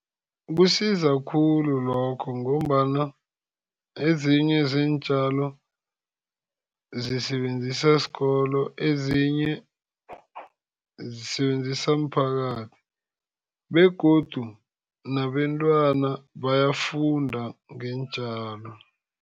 Kusiza khulu lokho, ngombana ezinye zeentjalo zisebenziswa sikolo, ezinye zisebenziswa mphakathi. Begodu nabentwana bayafunda ngeentjalo.